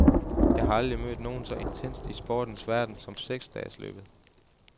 Jeg har aldrig mødt noget så intenst i sportens verden som seks dages løbet.